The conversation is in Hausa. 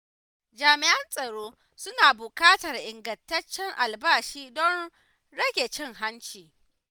Jami’an tsaro suna buƙatar ingantaccen albashi don rage cin hanci.